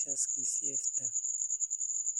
bariis, rooti, ama khudaar.